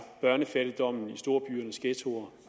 børnefattigdommen i storbyernes ghettoer